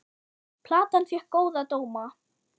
Platan fékk góða dóma.